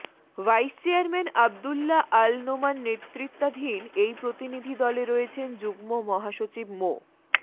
vice chairman Abdullah Al Noman নেতৃত্বাধীন এই প্রতিনিধি দলে রয়েছেন যুগ্ম মহাসচিব মো